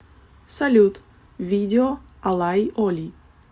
салют видео алай оли